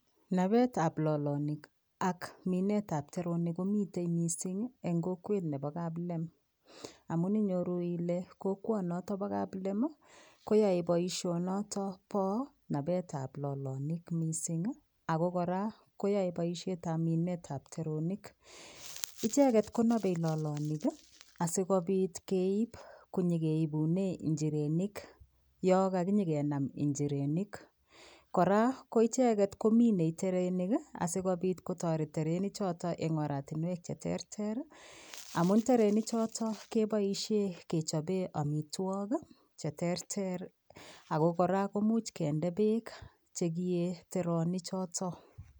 Nabet ab lolonik AK Minet ab teronik komiten mising en kokwet Nebo kaplem amun inyoru Ile kokwani noton Kap kaplem koyae baishoni niton ba nabet ab lolonik mising ako koraakoyae baishet ab Minet ab teronik icheket konabe lolonik sikobit keib akonyokeibunen injirenik Yan kakinyo kenam injirenik koraa koicheket komiten terenik sikobit kotaret terenik choton en oratinywek cheterter amun terenikchoton kebaishen amitwokik cheterter ako koraa imuch kende bek kiye teronik choton